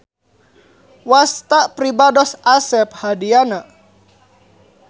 Wasta pribados Asep Hadiyana.